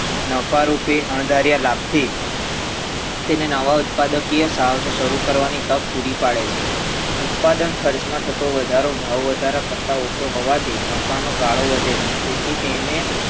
નફારૂપી અણધાર્યા લાભથી તેને નવા ઉત્પાદકીય સાહસો શરુ કરવાની તક પુરી પડે છે ઉત્પાદન ખર્ચમાં થતો વધારો ભાવવધારા કરતાં ઓછો હોવાથી નફાનો ગાળો વધે છે તેથી તેને